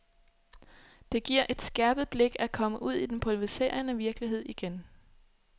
Det giver et skærpet blik at komme ud i den pulveriserende virkelighed igen.